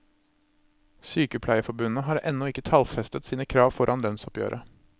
Sykepleierforbundet har ennå ikke tallfestet sine krav foran lønnsoppgjøret.